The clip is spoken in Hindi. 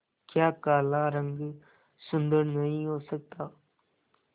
क्या काला रंग सुंदर नहीं हो सकता